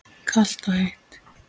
Kalt og heitt.